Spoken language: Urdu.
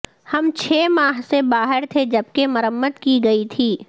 ہم چھ ماہ سے باہر تھے جبکہ مرمت کی گئی تھی